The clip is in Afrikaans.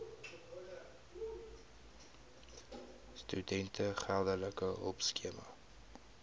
studente geldelike hulpskema